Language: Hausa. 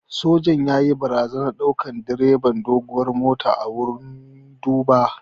Sojan yayi barazanan dukan direban doguwar motar a wurin duba